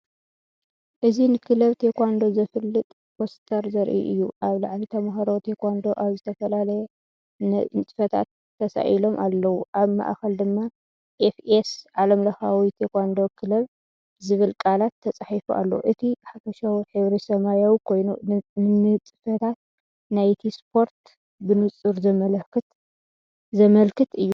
እዚ ንክለብ ቴኳንዶ ዘፋልጥ ፖስተር ዘርኢ እዩ። ኣብ ላዕሊ ተምሃሮ ቴኳንዶ ኣብ ዝተፈላለየ ንጥፈታት ተሳኢሎም ኣለዉ። ኣብ ማእከል ድማ “ኤፍ.ኤስ ዓለምለካዊ ቴኳንዶ ክለብ” ዝብል ቃላት ተጻሒፉ ኣሎ። እቲ ሓፈሻዊ ሕብሪ ሰማያዊ ኮይኑ፡ ንንጥፈታት ናይቲ ስፖርት ብንጹር ዘመልክት እዩ።